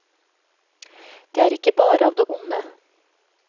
Det er ikke bare av det onde.